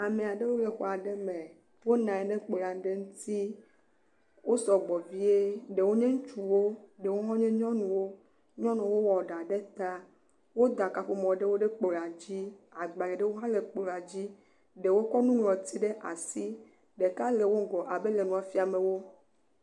Ame aɖewo le xɔ aɖe me. wonɔ anyi ɖe kplɔ̃ aɖe ŋuti. Wo sɔgbɔ vie. Ɖewo nye ŋutsuwo ɖewo hã wonye nyɔnuwo. Nyɔnuwo wɔ ɖa ɖe ta woda kaƒomɔ ɖe woƒe kplɔ dzi. agbalẽ aɖewo hã le kplɔ̃a dzi ɖewo kɔ nuŋlɔti ɖe asi. Ɖeka le wo ŋgɔ abe ele nua fiame wo.